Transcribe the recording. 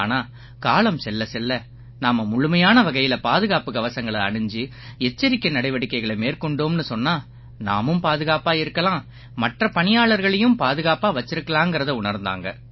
ஆனா காலம் செல்லச்செல்ல நாம முழுமையான வகையில பாதுகாப்புக் கவசங்களை அணிஞ்சு எச்சரிக்கை நடவடிக்கைகளை மேற்கொண்டோம்னு சொன்னா நாமும் பாதுகாப்பாக இருக்கலாம் மற்ற பணியாளர்களையும் பாதுகாப்பாக வச்சிருக்கலாங்கறதை உணர்ந்தாங்க